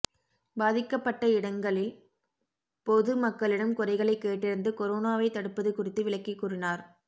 பாதிக்கப்பட்ட இடங்களில் பொது மக்களிடம் குறைகளை கேட்டறிந்து கொரோனாவை தடுப்பது குறித்து விளக்கி கூறினார்